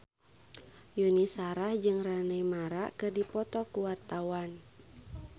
Yuni Shara jeung Rooney Mara keur dipoto ku wartawan